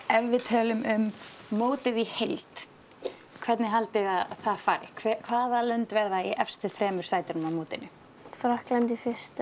ef við tölum um mótið í heild hvernig haldið þið að það fari hvaða lönd verða í efstu þremur sætunum á mótinu Frakkland